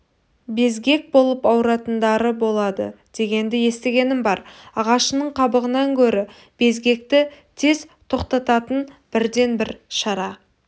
безгек болып ауыратындары болады дегенді естігенім бар ағашының қабығынан гөрі безгекті тез тоқтататын бірден-бір шара